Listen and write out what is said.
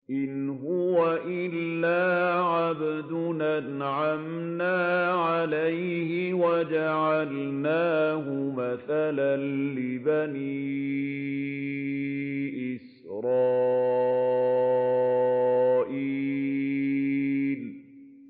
إِنْ هُوَ إِلَّا عَبْدٌ أَنْعَمْنَا عَلَيْهِ وَجَعَلْنَاهُ مَثَلًا لِّبَنِي إِسْرَائِيلَ